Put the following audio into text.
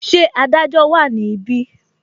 Ṣé Adájọ́ wa ni ibi?